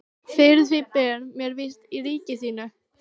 Fyrir því ber mér vist í ríki þínu.